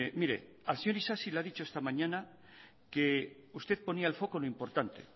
mire al señor isasi le ha dicho esta mañana que usted ponía el foco en lo importante